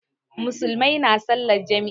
Musulmai na salan jam'i